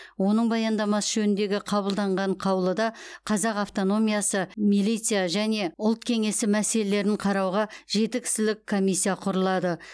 оның баяндамасы жөніндегі қабылданған қаулыда қазақ автономиясы милиция және ұлт кеңесі мәселелерін қарауға жеті кісілік комиссия құрылады